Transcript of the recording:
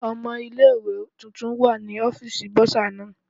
Owó ilé ìwé tuntun wà ní ọ́fíìsì Bọ́sà náà.